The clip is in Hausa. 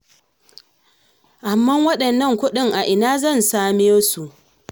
Amman waɗannan kuɗin a ina ni ma zan samiyo su?